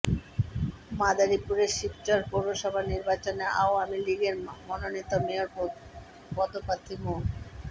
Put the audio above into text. মাদারীপুরের শিবচর পৌরসভা নির্বাচনে আওয়ামী লীগের মনোনীত মেয়র পদপ্রার্থী মো